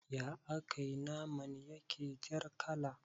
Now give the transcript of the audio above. Ya akai naman yake jar kala